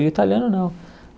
E o italiano não.